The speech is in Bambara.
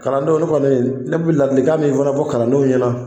Kalandenw ne fana ne bi ladilikan min fɛnɛ fɔ kalandenw ɲɛna